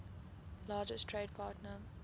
largest trade partner